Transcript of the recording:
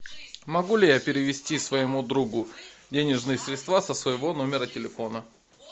могу ли я перевести своему другу денежные средства со своего номера телефона